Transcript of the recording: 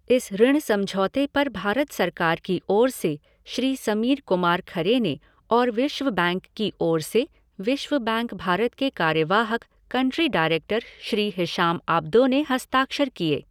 इस ऋण समझौते पर भारत सरकार की ओर से श्री समीर कुमार खरे ने और विश्व बैंक की ओर से विश्व बैंक भारत के कार्यवाहक country director Shri Hisham Abdo ने हस्ताक्षर किए।